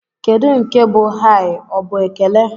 Kedụ nke bụ "Hai?" Ọ bụ ekele?